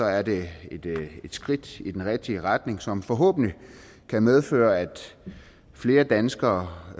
er det et skridt i den rigtige retning som forhåbentlig kan medføre at flere danskere